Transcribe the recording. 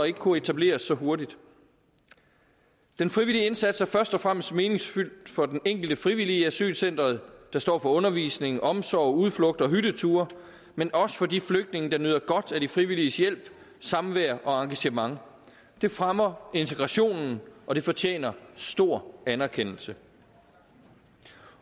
ikke kunnet etableres så hurtigt den frivillige indsats er først og fremmest meningsfyldt for den enkelte frivillige i asylcenteret der står for undervisning omsorg udflugter og hytteture men også for de flygtninge der nyder godt af de frivilliges hjælp samvær og engagement det fremmer integrationen og det fortjener stor anerkendelse